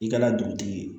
I kana dugutigi ye